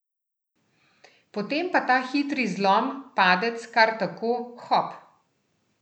Potem pa ta hitri zlom, padec, kar tako, hop!